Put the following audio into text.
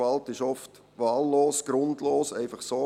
Die Gewalt ist oft wahllos, grundlos, sie geschieht einfach so.